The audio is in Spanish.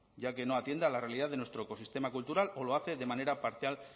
ya que no atiende a la realidad de nuestro ecosistema cultural o lo hace de manera parcial